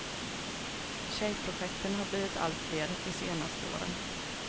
Tjejprojekten har blivit alltfler de senaste åren.